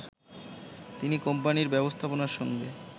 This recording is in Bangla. তিনি কোম্পানির ব্যবস্থাপনার সঙ্গে